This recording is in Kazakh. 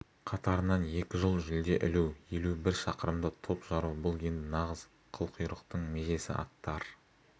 қатарынан екі жыл жүлде ілу елу бір шақырымда топ жару бұл енді нағыз қылқұйрықтың межесі аттар